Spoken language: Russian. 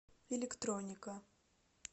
электроника